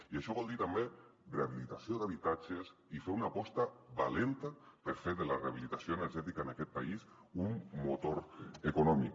i això vol dir també rehabilitació d’habitatges i fer una aposta valenta per fer de la rehabilitació energètica en aquest país un motor econòmic